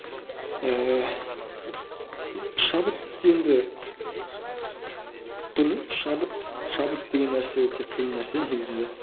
ііі шабыт енді білмеймін шабыт шабыт деген нәрсе өте қиын нәрсе негізінде